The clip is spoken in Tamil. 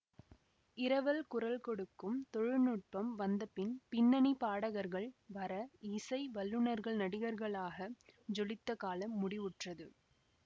இரவல் குரல் கொடுக்கும் தொழில்நுட்பம் வந்தபின் பின்னணி பாடகர்கள் வர இசை வல்லுனர்கள் நடிகர்களாக ஜொலித்த காலம் முடிவுற்றது